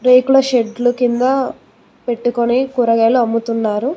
రేకుల షెడ్లు కింద పెట్టుకొని కూరగాయలు అమ్ముతున్నారు.